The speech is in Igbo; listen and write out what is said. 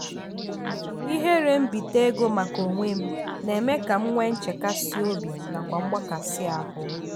ihere mbite ego maka onwem na eme ka m nwe nchekasi obi nakwa mgbakasị ahụ.